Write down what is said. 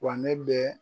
Wa ne bɛ